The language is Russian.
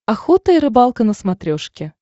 охота и рыбалка на смотрешке